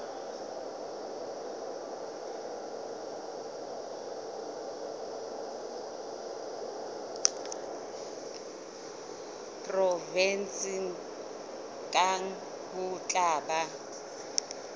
provenseng kang ho tla ba